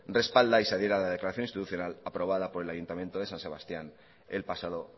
respalda y se adhiera a la declaración institucional aprobada por el ayuntamiento de san sebastián el pasado